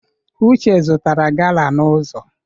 Uche zụtara gala n'ụzọ.